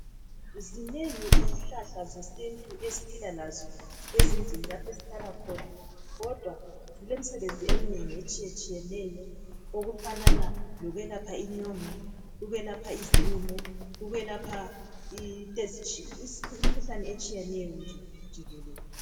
Zinengi izihlahla zesintu esiphila lazo ezindlini lapho esihlala khona, kodwa zilemisebenzi eminengi etshiyetshiyeneyo okufanana lokwelapha inyongo, ukwelapha izilumo ukwelapha imikhuhlane etshiyeneyo nje jikelele.